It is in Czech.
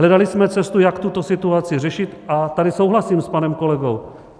Hledali jsme cestu, jak tuto situaci řešit, a tady souhlasím s panem kolegou.